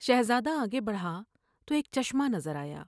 شہزادہ آگے بڑھا تو ایک چشمہ نظر آیا ۔